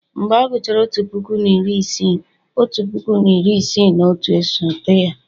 mgbe a gụchara otu puku na iri isii, otu puku na iri isii na otu, esote ya